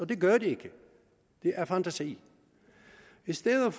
det gør det ikke det er fantasi i stedet